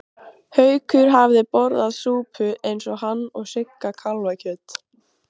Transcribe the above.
Haukur hafði borðað súpu eins og hann og Sigga kálfakjöt.